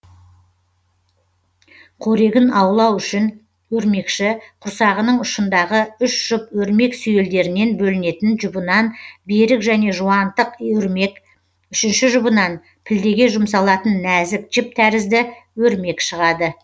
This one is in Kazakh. қорегін аулау үшін өрмекші құрсағының ұшындағы үш жұп өрмек сүйелдерінен бөлінетін жұбынан берік және жуантық өрмек үшінші жұбынан пілдеге жұмсалатын нәзік жіп тәрізді өрмек шығады